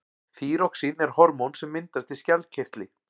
þýróxín er hormón sem myndast í skjaldkirtli